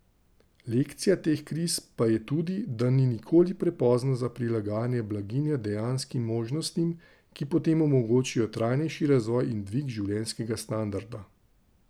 Lekcija teh kriz pa je tudi, da ni nikoli prepozno za prilagajanje blaginje dejanskim možnostim, ki potem omogočijo trajnejši razvoj in dvig življenjskega standarda.